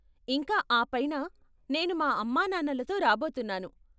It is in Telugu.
ఇంకా ఆపైన, నేను మా అమ్మానాన్నలతో రాబోతున్నాను.